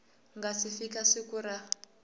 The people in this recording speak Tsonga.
nga si fika siku ra